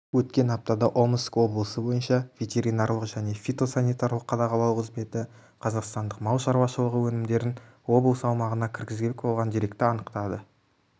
өткен аптада омск облысы бойынша ветеринарлық және фитосанитарлық қадағалау қызметі қазақстандық мал шаруашылығы өнімдерін облыс аумағына кіргізбек болған деректі анықтаған